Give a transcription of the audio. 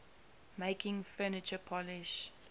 making furniture polish